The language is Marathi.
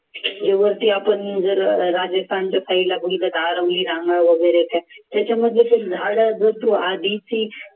जर राजस्थानच्या जाणार वगैरे आहे का त्याच्यामध्ये